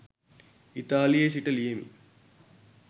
ඉතාලියේ සිට ලියමි